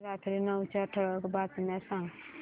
रात्री नऊच्या ठळक बातम्या सांग